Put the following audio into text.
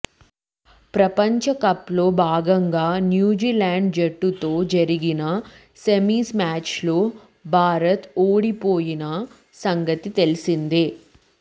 ప్రపంచ కప్ లో భాగంగా న్యూజిలాండ్ జట్టుతో జరిగిన సెమిస్ మ్యాచ్ లో భారత్ ఓడిపోయినా సంగతి తెలిసిందే